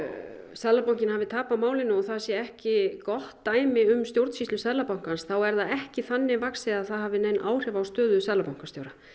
Seðlabankinn hafi tapað málinu og það sé ekki gott dæmi um stjórnsýslu Seðlabankans þá er það ekki þannig vaxið að það hafi áhrif á stöðu seðlabankastjóra